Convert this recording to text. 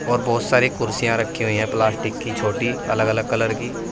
और बहोत सारी कुर्सियां रखी हुई हैं प्लास्टिक की छोटी अलग अलग कलर की।